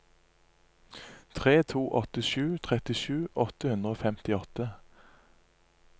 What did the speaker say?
tre to åtte sju trettisju åtte hundre og femtiåtte